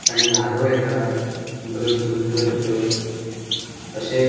आणि लारो येता बऱ्यो सुंदर अश्यो अशे --